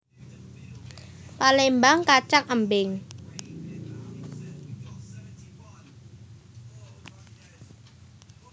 Palémbang kacang embing